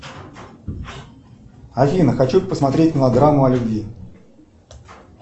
афина хочу посмотреть мелодраму о любви